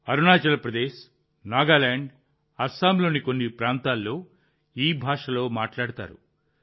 అరుణాచల్ ప్రదేశ్ నాగాలాండ్ అస్సాంలోని కొన్ని ప్రాంతాల్లో ఈ భాషలో మాట్లాడుతారు